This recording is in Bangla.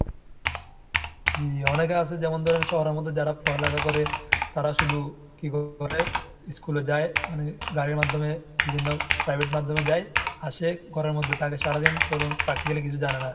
জি, অনেকে আছে যেমন ধরেন শহরের মধ্যে যারা পড়ালেখা করে তারা শুধু কি বলে, school এ যায় মানে গাড়ির মাধ্যমে বিভিন্ন private মাধ্যমে যায় আসে ঘরের মধ্যে থাকে সারাদিন ধরুন practically কিছু জানে না।